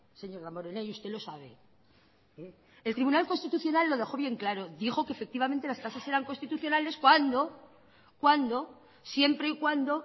señor damborenea y usted lo sabe el tribunal constitucional lo dejó bien claro dijo que efectivamente las tasas eran constitucionales siempre y cuando